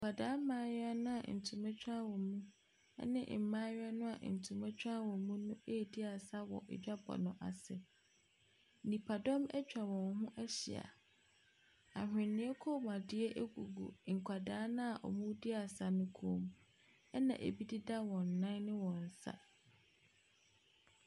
Nkwadaa mmayewa no a ntoma tware wɔn mu ne mmaayewa no antoma tware wɔn bo no redi asa wɔ adwabɔ no as. Nipadɔm atwa wɔn ho ahyia. Ahweneɛ kɔnmuadeɛ gugu nkwaaa no a wɔredi asa no kɔn mu, ɛna ɛbi deda wɔn nan ne wɔn nsa.